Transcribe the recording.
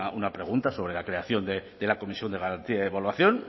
una pregunta sobre la creación de la comisión de garantía y evaluación